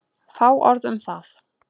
Fá orð um það.